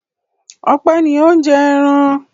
Ọpẹ́ ni ó ń jẹ ẹran.